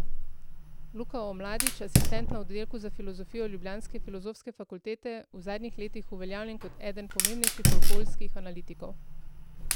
Luka Omladič, asistent na oddelku za filozofijo ljubljanske Filozofske fakultete, v zadnjih letih uveljavljen kot eden pomembnejših okoljskih analitikov.